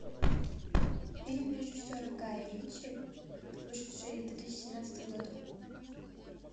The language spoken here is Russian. фильм режиссера гая ричи вышедший в две тысячи семнадцатом году